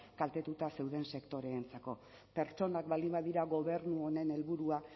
kaltetuta zeuden sektoreentzako pertsonak baldin badira gobernu honen helburua